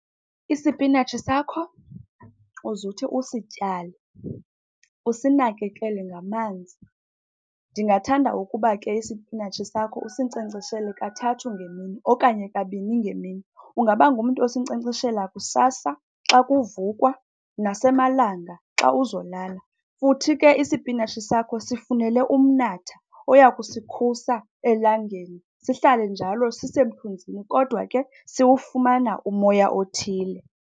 Isipinatshi sakho uzuthi usityale, usinakekele ngamanzi. Ndingathanda ukuba ke isipinatshi sakho usinkcenkceshele kathathu ngemini okanye kabini ngemini. Ungaba ngumntu osinkcenkceshela kusasa xa kuvukwa nasemalanga xa uzolala. Futhi ke isipinatshi sakho sifunele umnatha oyakusikhusa elangeni, sihlale njalo sisemthunzini kodwa ke siwufumana umoya othile.